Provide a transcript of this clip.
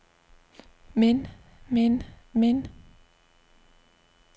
men men men